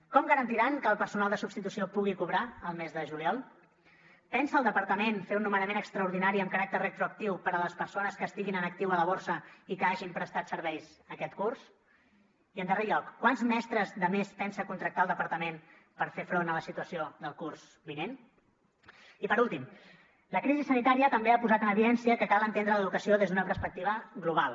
com garantiran que el personal de substitució pugui cobrar el mes de juliol pensa el departament fer un nomenament extraordinari amb caràcter retroactiu per a les persones que estiguin en actiu a la borsa i que hagin prestat serveis aquest curs i en darrer lloc quants mestres de més pensa contractar el departament per fer front a la situació del curs vinent i per últim la crisi sanitària també ha posat en evidència que cal entendre l’educació des d’una perspectiva global